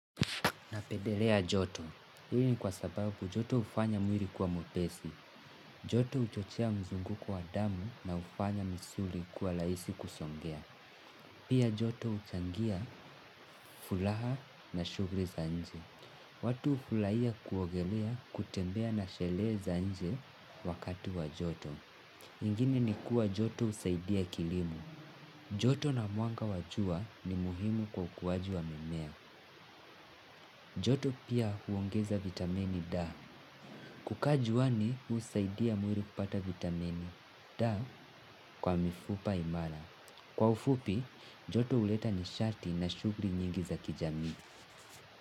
Napedelea joto. Hii ni kwa sababu joto hufanya mwili kuwa mwepesi. Joto uchochea mzunguko wa damu na ufanya misuli kuwa laisi kusongea. Pia joto uchangia fulaha na shugri za nje. Watu ufulaia kuogelea kutembea na shele za nje wakati wa joto. Ingine ni kuwa joto usaidia kilimo. Joto na mwanga wa jua ni muhimu kwa ukuaji wa mimea. Joto pia huongeza vitamini D. Kukaa juani husaidia mwiri kupata vitamini D kwa mifupa imara. Kwa ufupi, joto uleta nishati na shugli nyingi za kijamii.